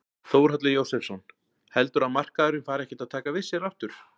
Þórhallur Jósefsson: Heldurðu að markaðurinn fari ekkert að taka við sér aftur?